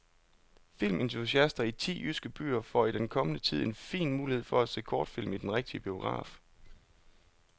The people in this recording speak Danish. Filmentusiaster i ti jyske byer får i den kommende tid en fin mulighed for at se kortfilm i den rigtige biograf.